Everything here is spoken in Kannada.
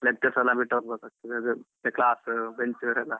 Lectures ಎಲ್ಲ ಬಿಟ್ಟ್ ಹೋಗ್ಬೇಕಾಗ್ತಾದೆ ಮತ್ತೆ class bench ಅದೆಲ್ಲ.